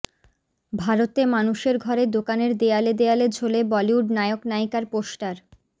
ভারতে মানুষের ঘরে দোকানের দেয়ালে দেয়ালে ঝোলে বলিউড নায়ক নায়িকার পোস্টার